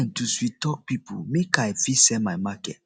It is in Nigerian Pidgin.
to sweettalk pipo make i fit sell my market